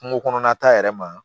Kungo kɔnɔna ta yɛrɛ ma